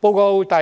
報告第